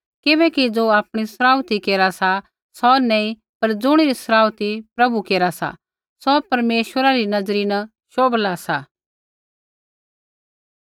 किबैकि ज़ो आपणी सराउथी केरा सा सौ नैंई पर ज़ुणिरी सराउथी प्रभु केरा सा सौ परमेश्वरा री नज़री न शोभला सा